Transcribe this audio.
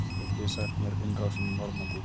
hvað getið þið sagt mér innrásina í normandí